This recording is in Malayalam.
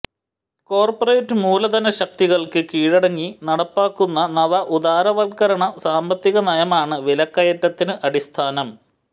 കോര്പറേറ്റ് മൂലധനശക്തികള്ക്ക് കീഴടങ്ങി നടപ്പാക്കുന്ന നവ ഉദാരവല്ക്കരണ സാമ്പത്തികനയമാണ് വിലക്കയറ്റത്തിന് അടിസ്ഥാനം